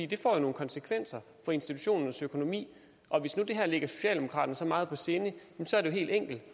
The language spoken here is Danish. det får jo nogle konsekvenser for institutionernes økonomi og hvis det her ligger socialdemokraterne så meget på sinde er det helt enkelt